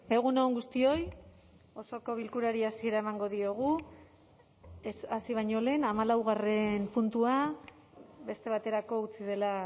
egun on guztioi osoko bilkurari hasiera emango diogu hasi baino lehen hamalaugarren puntua beste baterako utzi dela